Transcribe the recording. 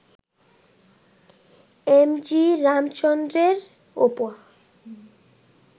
M G রামচন্দ্রনের ওপর